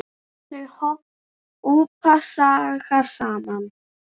Þau hópa sig saman.